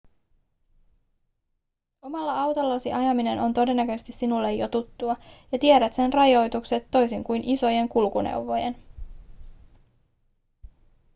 omalla autollasi ajaminen on todennäköisesti sinulle jo tuttua ja tiedät sen rajoitukset toisin kuin isojen kulkuneuvojen